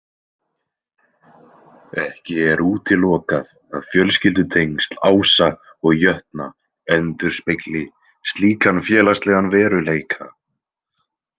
Ekki er útilokað að fjölskyldutengsl Ása og jötna endurspegli slíkan félagslegan veruleika.